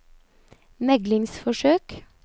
meglingsforsøk